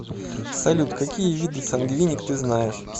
салют какие виды сангвиник ты знаешь